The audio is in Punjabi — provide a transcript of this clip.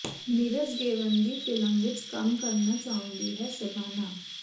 ਨੀਰਜ ਗੇਵਨ ਦੀ ਫਿਲਮ ਵਿੱਚ ਕੰਮ ਕਰਨਾ ਚਾਹੁੰਦੀ ਹੈ ਸ਼ਬਾਨਾ